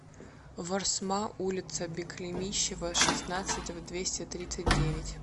ворсма улица беклемищево шестнадцать в двести тридцать девять